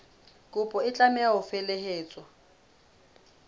kopo e tlameha ho felehetswa